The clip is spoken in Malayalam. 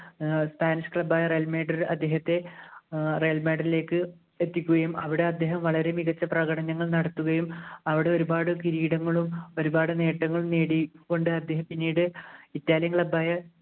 ഏർ spanish club ആയ ഏർ അദ്ദേഹത്തെ ലേക്ക് എത്തിക്കുകയും അവിടെ അദ്ദേഹം വളരെ മികച്ച പ്രകടനങ്ങൾ നടത്തുകയും അവിടെ ഒരുപാടു കിരീടങ്ങളും ഒരുപാട് നേട്ടങ്ങളും നേടി കൊണ്ട് അത് പിന്നീട് italian club ആയ